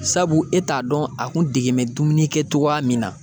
Sabu e t'a dɔn a kun dege mɛ dumuni kɛ cogoya min na